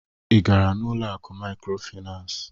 Ị gara n'ụlọ akụ mikrofinas?